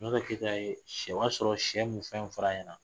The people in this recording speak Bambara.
Sunjata Keyita ye se, o ye a sɔrɔ sɛ mun fɛn fara ɲɛna